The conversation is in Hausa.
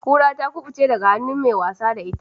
Kura ta kubuce daga hannun mai wasa da ita.